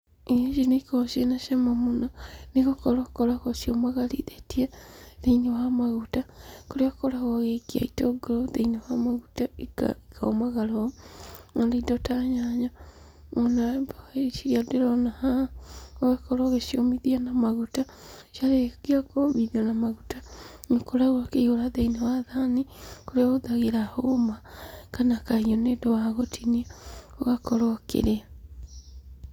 Irio ici nĩigĩkoragwo ciĩ na cama mũno nĩgũkorwo ũkoragwo uciũmagarithĩtie thĩ-inĩ wa maguta kũrĩa ũkoragwo ugĩikia itũngũrũ thĩ-inĩ wa maguta ikomagara ũũ, ona indo ta nyanya. Ona mboga icio ndĩrona haha ũgakorwo ũgĩciumithia na maguta. Ciarĩkia kũmithio na maguta, nĩũkoragwo ũkĩihũra thĩi-inĩ wa thani, kũrĩa ũhũthagĩra hũma kana kahiũ nĩ ũndũ wa gũtinia ũgakorwo ũkĩrĩa.